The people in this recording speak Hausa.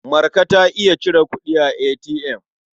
Marka ta iya cire kuɗi a ATM.